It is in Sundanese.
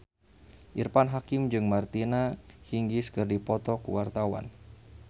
Irfan Hakim jeung Martina Hingis keur dipoto ku wartawan